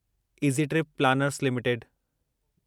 easy Trip Planners limited